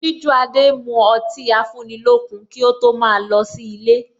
Sijuade mu ọtí afúnilókun kí ó tó ma lọ sí ilé